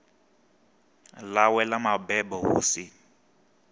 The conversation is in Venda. ḽawe ḽa mabebo hu si